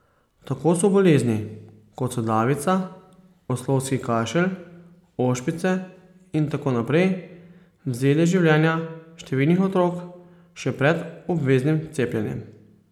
Tako so bolezni, kot so davica, oslovski kašelj, ošpice in tako naprej, vzele življenja številnih otrok še pred obveznim cepljenjem.